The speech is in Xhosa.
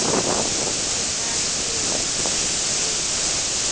kumateyu malunga nokwa